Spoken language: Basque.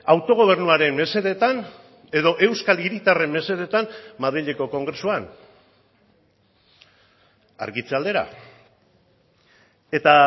autogobernuaren mesedetan edo euskal hiritarren mesedetan madrileko kongresuan argitze aldera eta